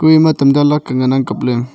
kuu ema tamta laka ngan ang kapley.